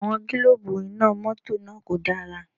Àwọn gílóòbù Iná mọ́tọ̀ náà kò dára